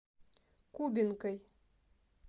кубинкой